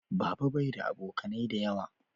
Baba bai da abokanai da yawa